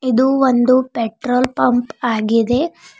ಇದು ಒಂದು petrol pump ಆಗಿದೆ.